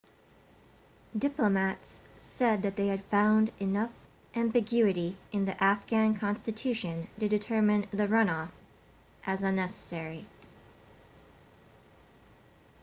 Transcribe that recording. diplomats said that they had found enough ambiguity in the afghan constitution to determine the runoff as unnecessary